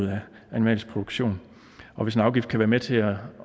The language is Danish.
den animalske produktion og hvis en afgift kan være med til